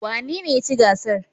Wanene ya ci gasar?